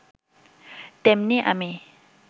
তেমনি আমি